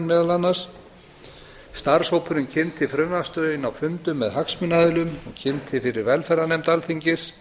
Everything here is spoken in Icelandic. meðal annars starfshópurinn kynnti frumvarpsdrögin á fundum með hagsmunaaðilum og kynnti fyrir velferðarnefnd alþingis